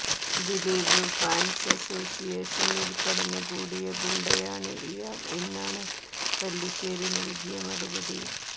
Dileep fans അസ്സോസ്സിയേഷനിൽ കടന്ന് കൂടിയ ഗുണ്ടയാണ് ഇയാൾ എന്നാണ് പല്ലിശേരി നൽകിയ മറുപടി